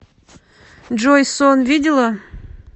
джой сон видела